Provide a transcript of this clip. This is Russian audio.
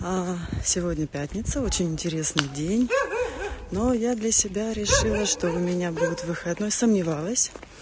сегодня пятница очень интересный день но я для себя решила что у меня будет выходной сомневалась